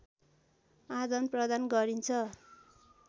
आदान प्रदान गरिन्छ